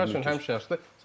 Futbol sevər üçün həmişəşdir.